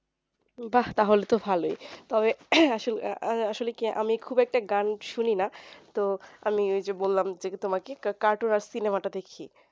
বাহ্ তাহলে তো ভালোই তবে আসলে আসলে কি আমি খুব একটা গান শুনি না তো আমি ওই যে বললাম যে তোমাকে cartoon আর cinema টা দেখি